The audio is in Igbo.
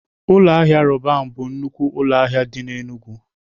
Ụlọ ahịa Roban bụ nnukwu ụlọ ahịa dị n'Enugwu.